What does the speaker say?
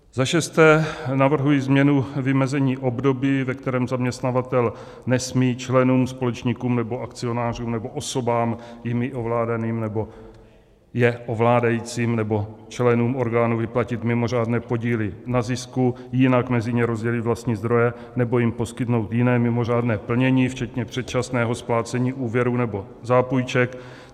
Za šesté navrhuji změnu vymezení období, ve kterém zaměstnavatel nesmí členům, společníkům nebo akcionářům nebo osobám jimi ovládaným nebo je ovládajícím nebo členům orgánů vyplatit mimořádné podíly na zisku, jinak mezi ně rozdělit vlastní zdroje nebo jim poskytnout jiné mimořádné plnění včetně předčasného splácení úvěrů nebo zápůjček.